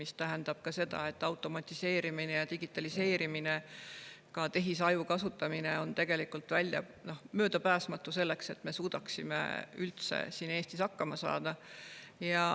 See tähendab ka seda, et automatiseerimine ja digitaliseerimine, ka tehisaju kasutamine on tegelikult möödapääsmatu, selleks et me suudaksime üldse siin Eestis hakkama saada.